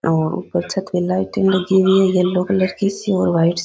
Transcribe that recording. और ऊपर छत पर लाइटिंग लगी हुई है येलो कलर की सी और वाइट --